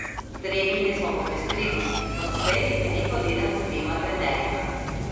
Treninge smo popestrili, odslej veliko delam z dvema trenerjema.